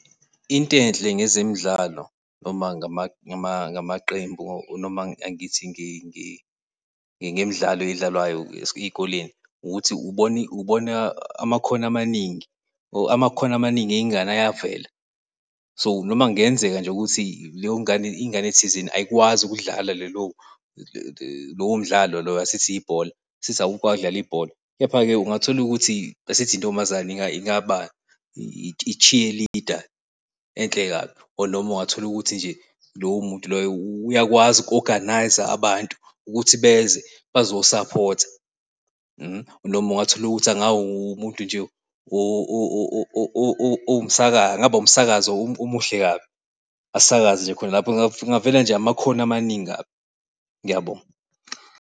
Into enhle ngezemidlalo noma ngamaqembu. Noma angithi ngemidlalo edlalwayo ey'koleni ukuthi ubona amakhono amaningi, or amakhono amaningi ey'ngane ayavela. So, noma kungenzeka nje ukuthi leyongane, ingane thizeni ayikwazi ukudlala lelo, lowo mdlalo lowo asithi ibhola sithi awukwazi ukudlala ibhola. Kepha-ke ungatholukuthi asithi intombazane ingaba i-cheerleader enhle kabi. Or noma ungatholukuthi nje lowo muntu loyo uyakwazi uku-organizer abantu ukuthi beze bazo-supporter . Noma ungatholukuthi angawumuntu nje owumsakazi, angaba umsakazi omuhle kabi asakaze nje khona lapho. Kungavele nje amakhono amaningi kabi. Ngiyabonga.